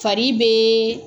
Fari bɛ